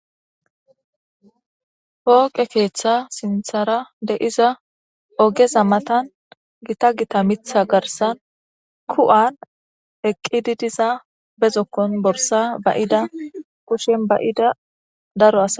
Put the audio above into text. hooqe keeththa sinthara deiza ogeza matan gita gita mitha garsan ku7an eqqididiza bezokkon borsa bayida kushen bayida daro as